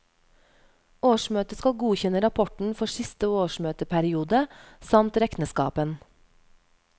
Årsmøtet skal godkjenne rapporten for siste årsmøteperiode, samt rekneskapen.